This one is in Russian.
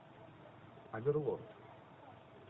оверлорд